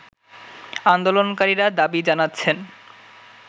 আন্দোলনকারীরা দাবি জানাচ্ছেন